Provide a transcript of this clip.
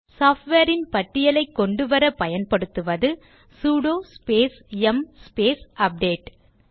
software ன் பட்டியலைக் கொண்டுவர பயன்படுத்துவது சுடோ ஸ்பேஸ் யும் ஸ்பேஸ் அப்டேட்